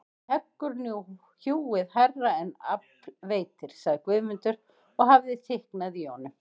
Heggur nú hjúið hærra en afl veitir, sagði Guðmundur og hafði þykknað í honum.